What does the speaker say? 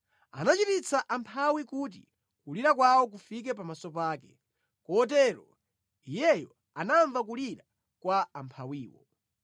Anachititsa amphawi kuti kulira kwawo kufike pamaso pake, kotero Iyeyo anamva kulira kwa amphawiwo.